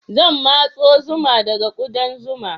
Zan matso zuma daga ƙudan zuma.